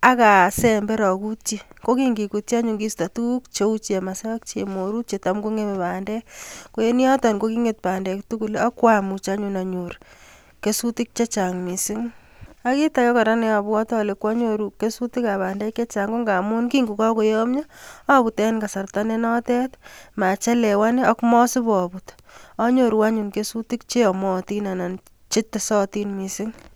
akasember akutyi ko kingikutyi anyun kisto tukuk cheu chemase ak chemorut chetam kong'emei bandek ko en yoton ko king'et bandek tugul ak kwamuch anyun anyor kesutik chechang' mising ak kiit ake kora neabwoti ale kwanyoru kesutik ab bandek chechang' ko nga amun kingukakoyomyo abut eng' kasarta nenotet machelewan ak masipabut anyiru anyun kesutik cheyomotin anan chetesotin mising'